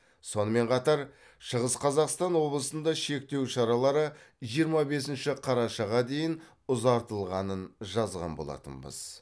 сонымен қатар шығыс қазақстан облысында шектеу шаралары жиырма бесінші қарашаға дейін ұзартылғанын жазған болатынбыз